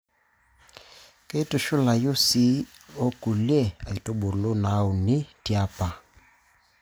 Keitushulayu sii okulie aitubulu naauni tiapa.